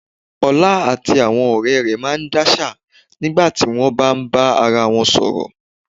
Ọlá àti àwọn ọ̀rẹ́ rẹ̀ máa ń dáṣà nígbà tí wọ́n bá ń bá ara wọn sọ̀rọ̀